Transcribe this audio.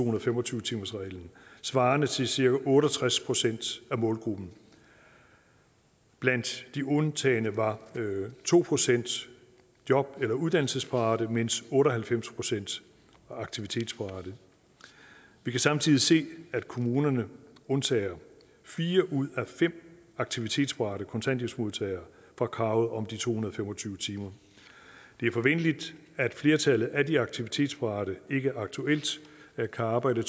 og fem og tyve timersreglen svarende til cirka otte og tres procent af målgruppen blandt de undtagne var to procent job eller uddannelsesparate mens otte og halvfems procent var aktivitetsparate vi kan samtidig se at kommunerne undtager fire ud af fem aktivitetsparate kontanthjælpsmodtagere fra kravet om de to hundrede og fem og tyve timer det er forventeligt at flertallet af de aktivitetsparate ikke aktuelt kan arbejde